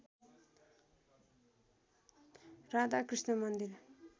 राधाकृष्ण मन्दिर